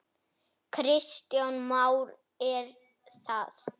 Kristján Már: Er það?